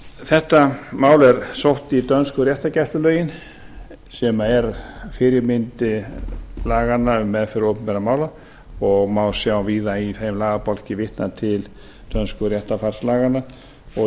þetta mál er sótt í dönsku réttargæslulögin sem er fyrirmynd laganna um meðferð opinberra mála og má sjá víða í þeim lagabálki vitnað til dönsku réttarfarslaganna og